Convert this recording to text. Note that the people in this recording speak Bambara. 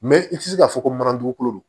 Mɛ i tɛ se k'a fɔ ko mana dugukolo